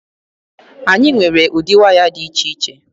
Anyị nwere ụdị waya dị iche iche.